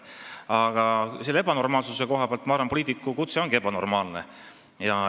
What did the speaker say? Aga selle ebanormaalsuse koha pealt ma arvan, et poliitiku elukutse ongi ebanormaalne.